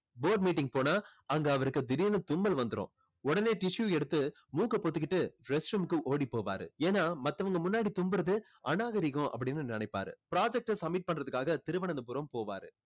board meeting போனா அங்க அவருக்கு திடீர்னு தும்மல் வந்துரும். உடனே tissue எடுத்து மூக்கை பொத்திக்கிட்டு rest room க்கு ஓடி போவாரு. ஏன்னா மத்தவங்க முன்னாடி தும்புறது அநாகரிகம் அப்படின்னு நினைப்பாரு. project அ submit பண்றதுக்காக திருவனந்தபுரம் போவாரு.